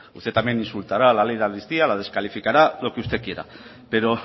usted también insultará a la ley de amnistía la descalificará lo que usted quiera pero